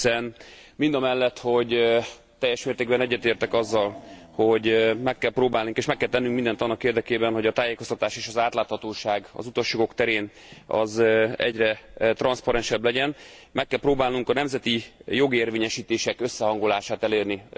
Hiszen, mindamellett, hogy teljes mértékben egyetértek azzal, hogy meg kell próbálnunk, és meg kell tennünk mindent annak érdekében, hogy a tájékoztatás és az átláthatóság az utasjogok terén egyre transzparensebb legyen, meg kell próbálnunk a nemzeti jogérvényesítések összehangolását elérni.